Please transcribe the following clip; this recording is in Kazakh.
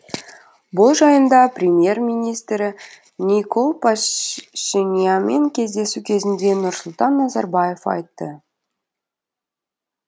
бұл жайында премьер министрі никол пашинянмен кездесу кезінде нұрсұлтан назарбаев айтты